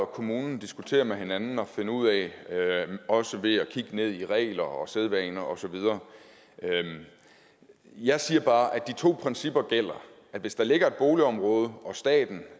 og kommunen diskutere med hinanden og finde ud af også ved at kigge ned i regler og sædvaner og så videre jeg siger bare at de to principper gælder at hvis der ligger et boligområde og staten